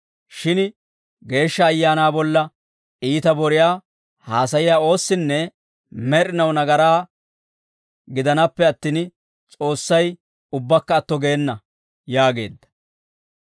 shin Geeshsha Ayaanaa bolla iita boriyaa haasayiyaa oossinne med'inaw nagaraa gidanaappe attin, S'oossay ubbakka atto geena» yaageedda.